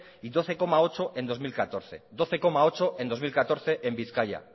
y doce coma ocho en dos mil catorce doce coma ocho en dos mil catorce en bizkaia